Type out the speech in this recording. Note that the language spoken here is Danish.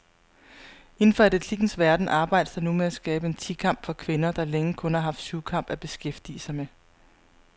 Inden for atletikkens verden arbejdes der nu med at skabe en ti kamp for kvinder, der længe kun har haft syvkamp at beskæftige med.